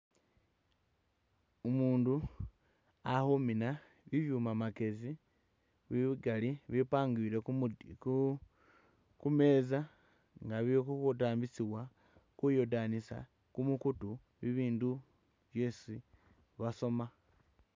Umundu ali khumiina bibyuma bye kamakyesi bikaali bibipangiwile khu metsa nga bili kudambisiwa kuyodanisa kumukutu bibindu byesi basoma.